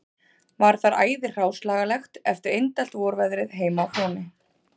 Var þar æði hráslagalegt eftir indælt vorveðrið heima á Fróni